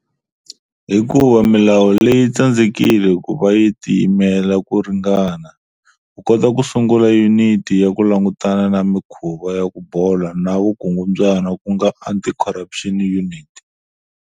Hikuva milawu leyi tsandzekile ku va yi"tiyimela ku ringana" ku kota ku sungula yuniti ya ku langutana na mikhuva ya ku bola na vukungundzwana ku nga anti-corruption unit.